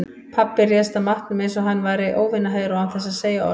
Pabbi réðst að matnum einsog hann væri óvinaher og án þess að segja orð.